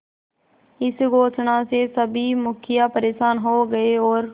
इस घोषणा से सभी मुखिया परेशान हो गए और